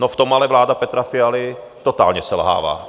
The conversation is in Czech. No, v tom ale vláda Petra Fialy totálně selhává.